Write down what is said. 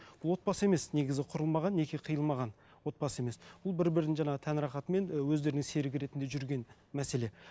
отбасы емес негізі құрылмаған неке қиылмаған отбасы емес ол бір бірін жаңа тән рахатымен і өздерінің серік ретінде жүрген мәселе